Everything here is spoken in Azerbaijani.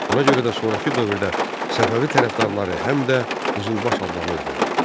Ona görə də sonrakı dövrdə Səfəvi tərəfdarları həm də Qızılbaş adlanırdılar.